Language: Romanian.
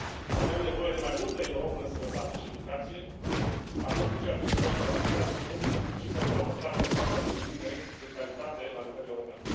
Avem nevoie de mai multă Europă în sănătate și educație, atât în ceea ce privește alocarea de fonduri, cât și pentru adoptarea de standarde minime de calitate la nivel european.